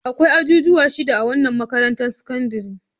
Akwai ajujuwa shida a wannan makarantar sakandare.